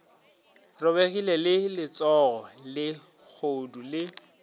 robegile le letsogo lehodu le